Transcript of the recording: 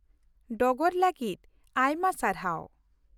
ᱰᱚᱜᱚᱨ ᱞᱟᱹᱜᱤᱫ ᱟᱭᱢᱟ ᱥᱟᱨᱦᱟᱣ ᱾